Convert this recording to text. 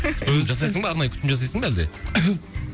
өзің жасайсың ба арнайы күтім жасайсың ба әлде